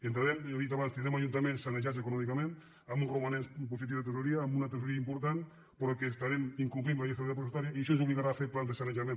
ja ho he dit abans tindrem ajuntaments sanejats econòmica·ment amb uns romanents positius de tresoreria amb una tresoreria important però que estarem incomplint la llei d’estabilitat pressupostària i això ens obligarà a fer plans de sanejament